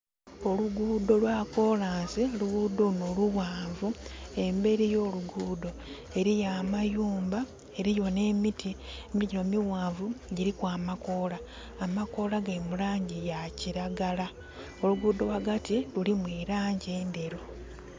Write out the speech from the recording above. Oluguudo lwa kolansi, oluguudo luno lughanvu. Emberi y'oluguudo eriyo amayumba, eriyo n'emiti. Emiti mighanvu gyiriku amakoola. Amakoola gali mu laangi ya kiragala. Oluguudo ghagati lulimu elaangi endheru.